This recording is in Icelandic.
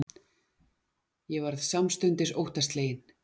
Ég varð samstundis óttaslegin.